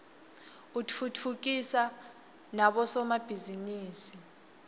utfutfukisa nabo somabhizinisi